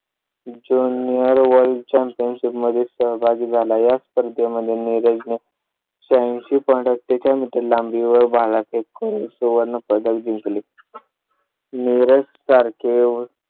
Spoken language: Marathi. junior world championship मध्ये सहभागी झाला. या स्पर्धे मध्ये नीरज ने शहा ऐंशी. पंधरा मीटर वर भाला फेकून करून सुवर्ण पदक जिंकले. निरज तारखे